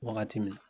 Wagati min na